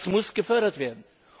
Das muss gefördert werden.